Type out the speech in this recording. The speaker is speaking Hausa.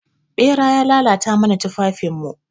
Ɓera ya lalata mana tufafin mu.